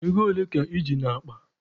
Ego ole ka I ji n'akpa?